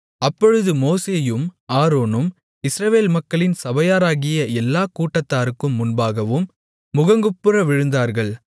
அப்பொழுது மோசேயும் ஆரோனும் இஸ்ரவேல் மக்களின் சபையாராகிய எல்லாக் கூட்டத்தாருக்கு முன்பாகவும் முகங்குப்புற விழுந்தார்கள்